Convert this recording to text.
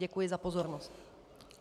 Děkuji za pozornost.